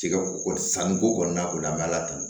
Tigɛ ko sanni ko kɔni na ko la an bɛ ala tanu